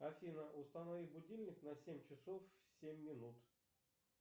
афина установи будильник на семь часов семь минут